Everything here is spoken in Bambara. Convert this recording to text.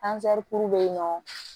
be yen nɔ